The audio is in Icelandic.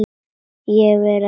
Ég verð að treysta honum.